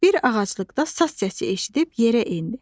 Bir ağaclıqda saz səsi eşidib yerə endi.